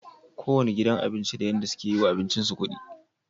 Kowanne gidan abinci da yadda suke yiwa abincin su kudi